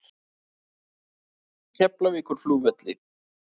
Keflavíkurflugvelli